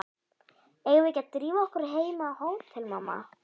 Eigum við ekki að drífa okkur heim á hótel, mamma?